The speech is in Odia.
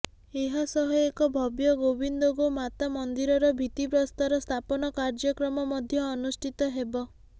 ଏହାସହ ଏକ ଭବ୍ୟ ଗୋବିନ୍ଦ ଗୋ ମାତା ମନ୍ଦିରର ଭିତ୍ତି ପ୍ରସ୍ତର ସ୍ଥାପନ କାର୍ଯ୍ୟକ୍ରମ ମଧ୍ୟ ଅନୁଷ୍ଠିତ ହେବ